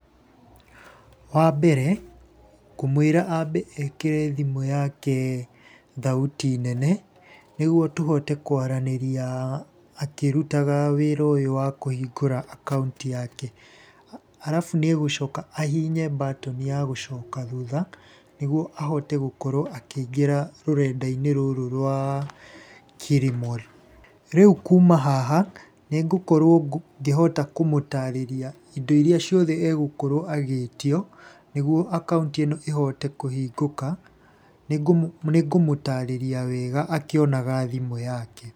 Wa mbere, ngũmwĩra ambe ekĩre thimũ yake thauti nene, nĩguo tũhote kwaranĩria akĩrutaga wĩra ũyũ wa kuhingũra akaũnti yake. Arabu niegũcoka ahihinye mbatoni ya gũcoka thutha, nĩguo ahote gũkorwo akĩingĩra rũrenda-inĩ rũrũ rwa Kilimall. Rĩu kuma haha, nĩ ngũkorwo ngĩhota kũmũtarĩria indo iria ciothe egũkorwo agĩĩtio nĩguo akaũnti ĩno ĩhote kũhingũka, nĩngũmũtarĩria wega akĩonaga thimũ yake.